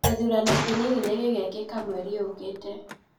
Gĩthurano kĩnini nĩ gĩgekĩka mwerĩ ũkĩte